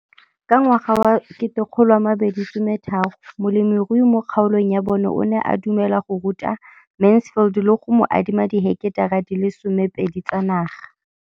Ka ngwaga wa 2013, molemirui mo kgaolong ya bona o ne a dumela go ruta Mansfield le go mo adima di heketara di le 12 tsa naga.